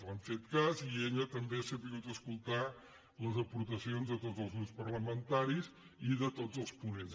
li han fet cas i ella també ha sabut escoltar les aportacions de tots els grups parlamentaris i de tots els ponents